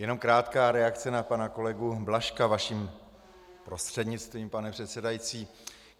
Jenom krátká reakce na pana kolegu Blažka vaším prostřednictvím, pane předsedající.